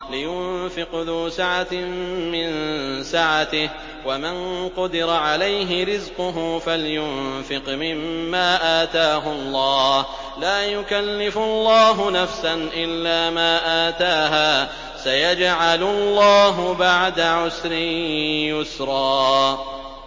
لِيُنفِقْ ذُو سَعَةٍ مِّن سَعَتِهِ ۖ وَمَن قُدِرَ عَلَيْهِ رِزْقُهُ فَلْيُنفِقْ مِمَّا آتَاهُ اللَّهُ ۚ لَا يُكَلِّفُ اللَّهُ نَفْسًا إِلَّا مَا آتَاهَا ۚ سَيَجْعَلُ اللَّهُ بَعْدَ عُسْرٍ يُسْرًا